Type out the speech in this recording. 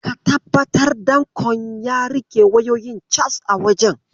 Ka tabbatar danƙon ya riƙe wayoyin cas a wajen.